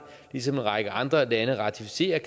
ligesom en række andre lande ratificerer